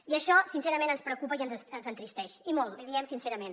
i això sincerament ens preocupa i ens entristeix i molt l’hi diem sincerament